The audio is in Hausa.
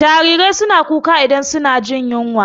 Jarirai suna kuka idan suna jin yunwa.